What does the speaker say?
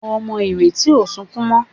Ọmọ Ireti o sọkún mo.